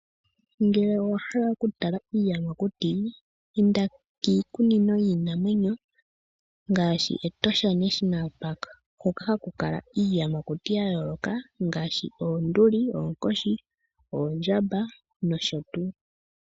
Ngele owa hala okutala iiyamakuti, inda kiikunino yiinamwenyo ngaashi Etosha National Park, hoka haku kala iiyamakuti ya yooloka ngaashi, oonduli, oonkoshi, oondjamba nosho tuu.